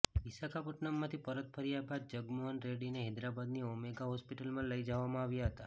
વિશાખાપટ્ટનમથી પરત ફર્યા બાદ જગનમોહન રેડ્ડીને હૈદરાબાદની ઓમેગા હોસ્પિટલમાં લઇ જવામાં આવ્યા હતા